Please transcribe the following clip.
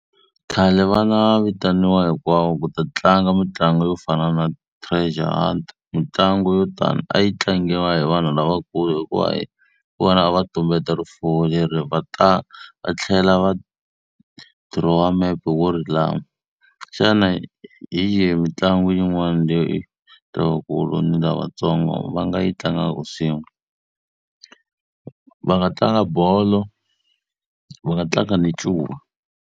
Khale a va na vitaniwa hinkwavo ku ta tlanga mitlangu yo fana na treasure hunt. Mitlangu yo tani a yi tlangiwa hi vanhu lavakulu hikuva hi vona a va tumbeta rifuwo leri va va tlhela va dirowa mepe wo ri lava. Xana hi yihi mitlangu yin'wani leyi lavakulu ni lavatsongo va nga yi tlangaka swin'we? Va nga tlanga bolo, va nga tlanga na ncuva.